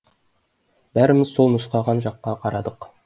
бәріміз сол нұсқаған жаққа қарадық